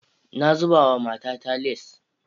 Na zaba wa matata lace.